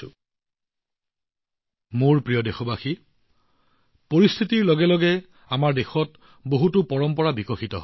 পৰিস্থিতি আৰু পৰিবেশ অনুসৰি সময়ৰ লগে লগে আমাৰ দেশত মোৰ মৰমৰ দেশবাসীয়ে বহুতো পৰম্পৰা বিকশিত কৰে